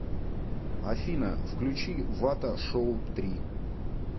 афина включи вата шоу три